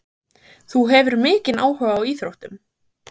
Jóhannes: Þú hefur mikinn áhuga á íþróttum?